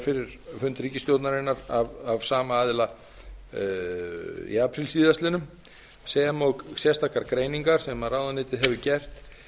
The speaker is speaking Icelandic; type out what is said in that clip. fyrir fund ríkisstjórnarinnar af sama aðra í apríl síðastliðinn sem og sérstakar greiningar sem ráðuneytið hefur gert